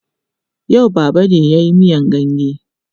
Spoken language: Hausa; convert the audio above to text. Yau Baba ne ya yi miyan ganye.